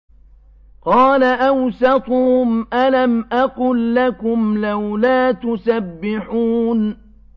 قَالَ أَوْسَطُهُمْ أَلَمْ أَقُل لَّكُمْ لَوْلَا تُسَبِّحُونَ